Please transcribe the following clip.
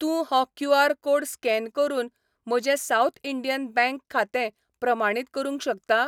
तूं हो QR. Code scan करून म्हजें साउथ इंडियन बँक खातें प्रमाणीत करूंक शकता?